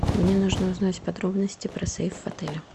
мне нужно узнать подробности про сейф в отеле